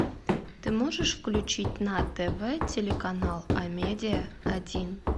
ты можешь включить на тв телеканал амедиа один